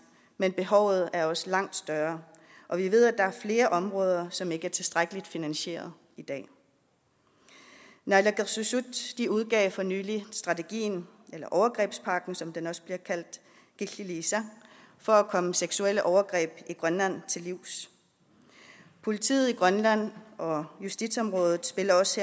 men behovet er også langt større og vi ved at der er flere områder som ikke er tilstrækkeligt finansieret i dag naalakkersuisut udgav for nylig strategien eller overgrebspakken som den også bliver kaldt killiliisa for at komme seksuelle overgreb i grønland til livs politiet i grønland og justitsområdet spiller også